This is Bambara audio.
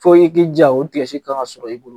Fo i k'i diya o kan ka sɔrɔ i bolo.